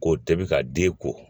K'o tɛ ka den ko